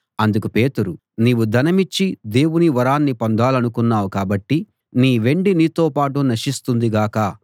అందుకు పేతురు నీవు ధనమిచ్చి దేవుని వరాన్ని పొందాలనుకున్నావు కాబట్టి నీ వెండి నీతో పాటు నశిస్తుంది గాక